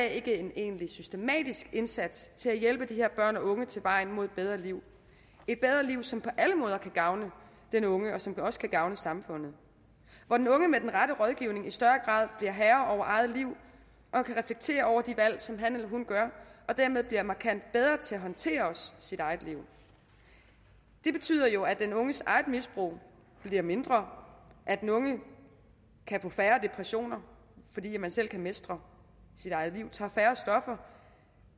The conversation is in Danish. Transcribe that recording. ikke en egentlig systematisk indsats til at hjælpe de her børn og unge til vejen mod et bedre liv et bedre liv som på alle måder kan gavne den unge og som også kan gavne samfundet hvor den unge med den rette rådgivning i større grad bliver herre over eget liv og kan reflektere over de valg som han eller hun gør og dermed bliver markant bedre til også at håndtere sit eget liv det betyder jo at den unges eget misbrug bliver mindre at den unge kan få færre depressioner fordi man selv kan mestre sit eget liv tager færre stoffer